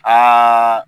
Aa